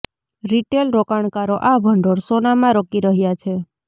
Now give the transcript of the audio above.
retail રોકાણકારો આ ભંડોળ સોનામાં રોકી રહ્યા છે